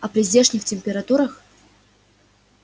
а при здешних температурах